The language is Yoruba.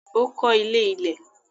Ó kọ́ ilé ilẹ̀.